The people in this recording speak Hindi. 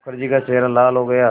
मुखर्जी का चेहरा लाल हो गया